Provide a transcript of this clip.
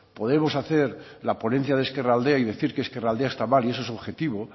podemos hacer la ponencia de ezkerraldea y decir que ezkerraldea está mal y eso es objetivo